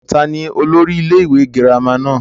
ta ni olórí ilé ìwé girama náà?